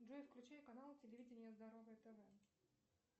джой включи канал телевидение здоровое тв